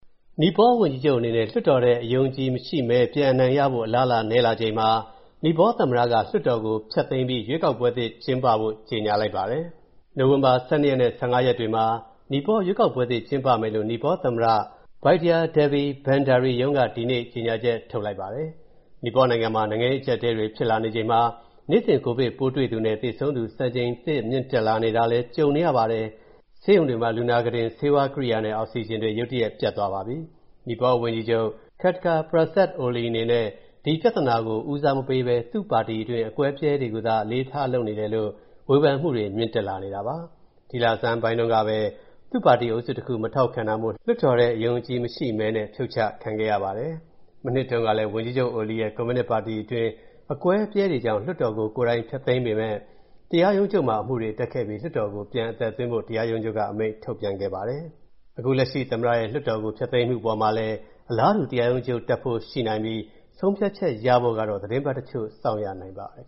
နီပေါဝန်ကြီးချုပ်အနေနဲ့ လွှတ်တော်ထဲ အယုံအကြည်ရှိမဲ ပြန်ရဖို့ အလားအလာ နည်းလာချိန်မှာ နီပေါသမ္မတက လွှတ်တော်ကို ဖျက်သိမ်းပြီး ရွေးကောက်ပွဲသစ် ကျင်းပဖို့ ကြေညာလိုက်ပါတယ်။ နိုဝင်ဘာ ၁၂ ရက်နဲ့ ၁၅ ရက်တွေမှာ နီပေါရွေးကောက်ပွဲသစ် ကျင်းပမယ်လို့ နီပေါသမ္မတ Bidya Devi Bhandari ရုံးက ဒီနေ့ ကြေညာချက် ထုတ်လိုက်ပါတယ်။ နီပေါနိုင်ငံမှာ နိုင်ငံရေးအကျပ်အတည်းတွေ ဖြစ်လာနေချိန်မှာ နေ့စဉ် ကိုဗစ်ပိုးတွေ့သူနဲ့ သေဆုံးသူ စံချိန်တင် မြင့်တက်လာတာလည်း ကြုံနေရပါတယ်။ ဆေးရုံတွေမှာ လူနာခုတင်၊ ဆေးဝါးကိရိယာနဲ့ အောက်ဆီဂျင်တွေ ရုတ်တရက် ပြတ်သွားပါပြီ။ နီပေါဝန်ကြီးချုပ် Khadga Prasad Oli အနေနဲ့ ကိုဗစ်ပြဿနာကို ဦးစားမပေးဘဲ သူ့ပါတီတွင်း အကွဲအပြဲတွေကိုသာ အလေးထား လုပ်နေတယ်လို့ ဝေဖန်မှုတွေ မြင့်တက်လာနေတာပါ။ ဒီလဆန်းတုန်းကပဲ သူ့ပါတီအုပ်စုတခုက မထောက်ခံတာမို့ လွှတ်တော်ထဲ အယုံအကြည်မရှိမဲနဲ့ ဖြုတ်ချခံခဲ့ရပါတယ်။ မနှစ်တုန်းကလည်း ဝန်ကြီးချုပ် Oli ရဲ့ ကွန်မြူနစ်ပါတီအတွင်း အကွဲအပြဲတွေကြောင့် လွှတ်တော်ကို ကိုယ်တိုင်ဖျက်သိမ်းပေမယ့် တရားရုံးချုပ်မှာ အမှုတွေတက်ခဲ့ပြီး လွှတ်တော်ကို ပြန်အသက်သွင်းဖို့ တရားရုံးချုပ်က အမိန့်ပြန်ထုတ်ခဲ့ပါတယ်။ အခုလက်ရှိ သမ္မတရဲ့ လွှတ်တော်ကို ဖျက်သိမ်းမှုအပေါ်မှာလည်း အလားတူ တရားရုံးချုပ်တက်ဖို့ရှိနိုင်ပြီး ဆုံးဖြတ်ချက်ရဖို့ကတော့ သီတင်းပတ်တချို့ စောင့်ရနိုင်ပါတယ်